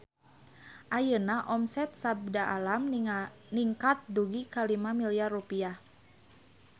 Ayeuna omset Sabda Alam ningkat dugi ka 5 miliar rupiah